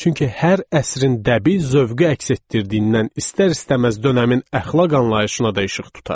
Çünki hər əsrin dəbi zövqü əks etdirdiyindən istər-istəməz dönəmin əxlaq anlayışına da işıq tutar.